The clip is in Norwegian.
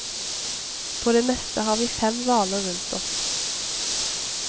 På det meste har vi fem hvaler rundt oss.